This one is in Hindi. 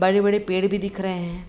बड़े-बड़े पेड़ भी दिख रहे हैं।